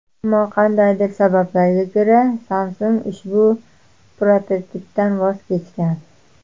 Ammo qandaydir sabablarga ko‘ra, Samsung ushbu prototipdan voz kechgan.